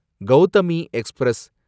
Gautami express